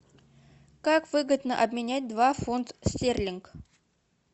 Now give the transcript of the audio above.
как выгодно обменять два фунт стерлинг